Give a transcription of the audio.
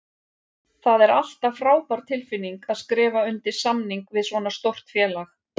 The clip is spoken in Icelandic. Það er alltaf frábær tilfinning að skrifa undir samning við svona stórt félag.